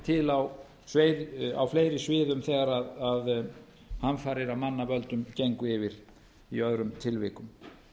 til á fleiri sviðum þegar hamfarir af manna völdum gengu yfir í öðrum tilvikum